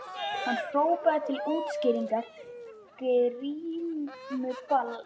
Hann hrópaði til útskýringar: Grímuball í